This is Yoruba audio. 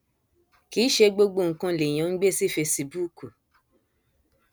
kì í ṣe gbogbo nǹkan lèèyàn ń gbé sí fesibúùkù